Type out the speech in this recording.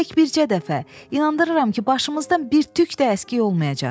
Tək bircə dəfə, inandırıram ki, başımızdan bir tük də əskik olmayacaq.